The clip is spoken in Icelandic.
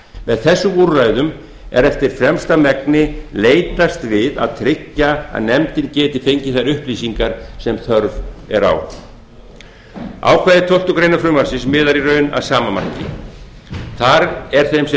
með þessum úrræðum er eftir fremsta megni leitast við að tryggja að nefndin geti fengið þær upplýsingar sem þörf er á ákvæði tólftu greinar frumvarpsins miðar í raun að sama marki þar er þeim sem